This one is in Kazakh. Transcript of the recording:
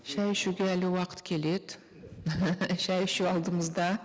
шай ішуге әлі уақыт келеді шай ішу алдымызда